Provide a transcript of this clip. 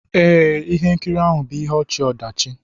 Ee, ihe nkiri ahụ bụ ihe ọchị-ọdachi.